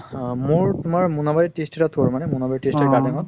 মোৰ তুমাৰ মুনাআৰি tea state ত কৰো মানে